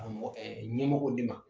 Ɲɛmɔgɔw de ma